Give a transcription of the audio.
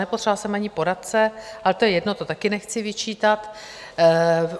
Nepotřebovala jsem ani poradce, ale to je jedno, to taky nechci vyčítat.